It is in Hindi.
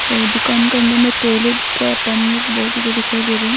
और दुकान करने में टॉयलेट का बहुत ज्यादा दिखाई दे रहे है।